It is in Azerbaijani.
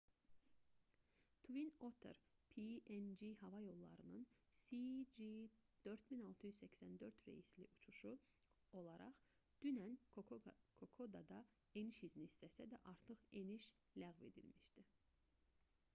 twin otter png hava yollarının cg4684 reysli uçuşu olaraq dünən kokodada eniş izni istəsə də artıq eniş ləğv edilmişdi